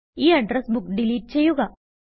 ഈ address book delete ചെയ്യുക